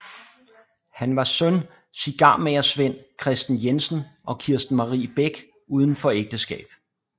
Han var søn cigarmagersvend Christen Jensen og Kirsten Marie Bech uden for ægteskab